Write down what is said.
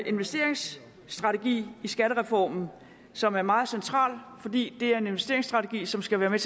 investeringsstrategi i skattereformen som er meget central for det er en investeringsstrategi som skal være med